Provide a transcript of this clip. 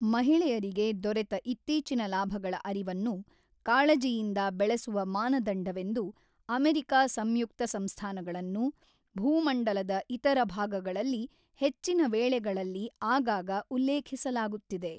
ಮಹಿಳೆಯರಿಗೆ ದೊರೆತ ಇತ್ತೀಚಿನ ಲಾಭಗಳ ಅರಿವನ್ನು ಕಾಳಜಿಯಿಂದ ಬೆಳೆಸುವ ಮಾನದಂಡವೆಂದು ಅಮೆರಿಕಾ ಸಂಯುಕ್ತ ಸಂಸ್ಥಾನಗಳನ್ನು ಭೂಮಂಡಲದ ಇತರ ಭಾಗಗಳಲ್ಲಿ ಹೆಚ್ಚಿನ ವೇಳೆಗಳಲ್ಲಿ ಆಗಾಗ ಉಲ್ಲೇಖಿಸಲಾಗುತ್ತಿದೆ.